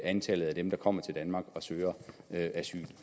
antallet af dem der kommer til danmark og søger asyl